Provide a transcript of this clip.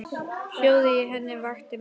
Hljóðið í henni vakti mig.